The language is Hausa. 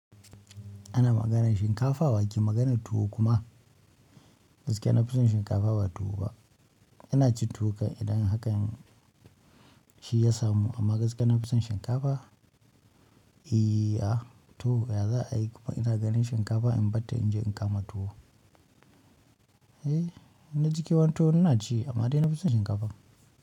Ana maganan shinkafa wa ke maganan tuwo kuma? Gaskiya na fi son shinkafa ba tuwo ba. Ina ci tuwo kan idan haka shi ya samu amma gaskiya na fi son shinkafa. I a to ya za a yi kuma ina ganin shinkafa in batta in je in kama tuwo. Eh, na ji ke wantuwo ina ci amma dai na fi son shinkafa.